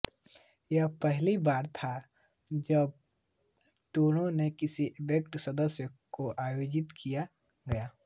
यह पहली बार था जब टूर्नामेंट किसी एसोसिएट सदस्य देश में आयोजित किया गया था